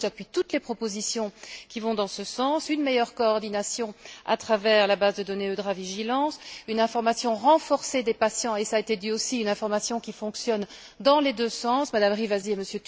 C'est pourquoi j'appuie toutes les propositions qui vont dans ce sens une meilleure coordination à travers la base de données EudraVigilance, une information renforcée des patients et, cela a été dit aussi, une information qui fonctionne dans les deux sens Mme Rivasi et M.